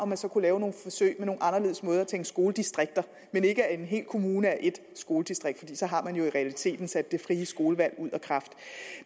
man så kan lave nogle forsøg med nogle anderledes måder at tænke skoledistrikter men ikke at en hel kommune er ét skoledistrikt for så har man jo i realiteten sat det frie skolevalg ud af kraft